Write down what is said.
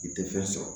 I tɛ fɛn sɔrɔ